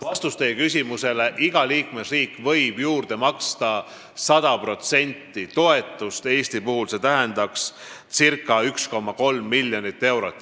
Vastus teie küsimusele: iga liikmesriik võib juurde maksta 100% toetust, Eesti puhul tähendaks see circa 1,3 miljonit eurot.